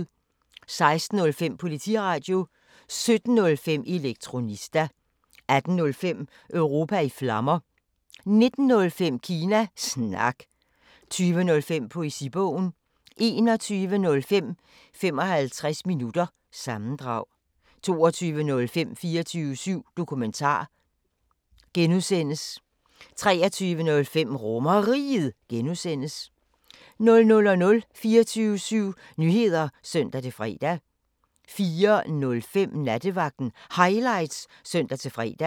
16:05: Politiradio 17:05: Elektronista 18:05: Europa i Flammer 19:05: Kina Snak 20:05: Poesibogen 21:05: 55 minutter – sammendrag 22:05: 24syv Dokumentar (G) 23:05: RomerRiget (G) 00:00: 24syv Nyheder (søn-fre) 04:05: Nattevagten Highlights (søn-fre)